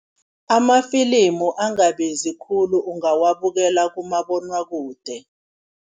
Amafilimu angabizi khulu ungawabukela kumabonwakude.